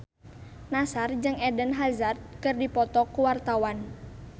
Nassar jeung Eden Hazard keur dipoto ku wartawan